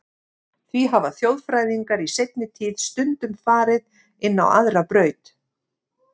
Því hafa þjóðfræðingar í seinni tíð stundum farið inn á aðra braut.